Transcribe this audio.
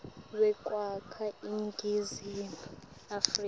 wekwakha iningizimu afrika